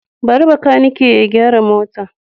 Bari makaniki ya gyara motar.